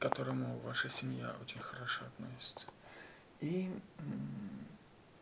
к которому ваша семья очень хорошо относится и